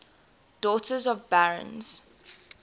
daughters of barons